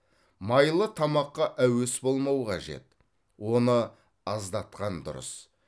майлы тамаққа әуес болмау қажет оны аздатқан дұрыс